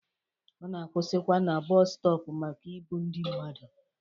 Ọ na-akwụsịkwa na bọọsu stọp maka ibu ndi mmadụ.